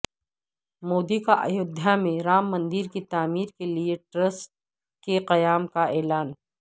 مودی کا ایودھیا میں رام مندر کی تعمیر کیلئے ٹرسٹ کے قیام کا اعلان